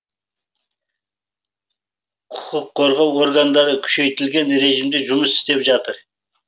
құқық қорғау органдары күшейтілген режимде жұмыс істеп жатыр